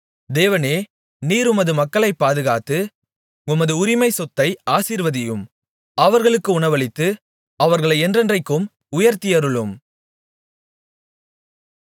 தேவனே நீர் உமது மக்களைப் பாதுகாத்து உமது உரிமை சொத்தை ஆசீர்வதியும் அவர்களுக்கு உணவளித்து அவர்களை என்றென்றைக்கும் உயர்த்தியருளும்